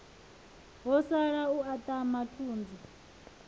ho sala u aṱama thunzi